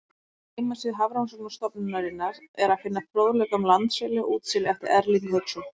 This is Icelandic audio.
Á heimasíðu Hafrannsóknastofnunarinnar er að finna fróðleik um landseli og útseli eftir Erling Hauksson.